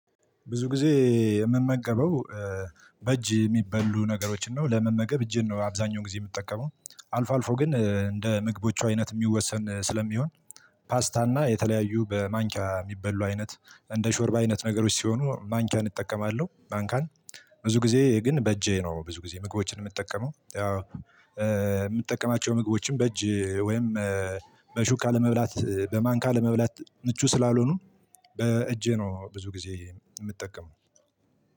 ብዙ ጊዜ የምመገበው። በእጅ የሚበሉ ነገሮችን ነው ለመመገብ እጄን ነው አብዛኛው ጊዜ የምጠቀመው አልፎ አልፎ ግን እንደ ምግቦቹ አይነት የሚወሰን ስለሚሆን። ፓስታና የተለያዩ በማንኪያ የሚበሉ አይነት እንደ ሾርባ አይነት ነገሮች ሲሆኑ ማንኪያን እጠቀማለሁ። ማንኪያን ብዙ ጊዜ ግን በእጄ ነው ብዙ ጊዜ ምግቦችን የምጠቀመው የምጠቀማቸው ምግቦችም በእጅ ወይም በሹካ ለመብላት በማንካ ለመብላት ምቹ ስላልሆኑ። በእጄ ነው ብዙ ጊዜ የምጠቀመው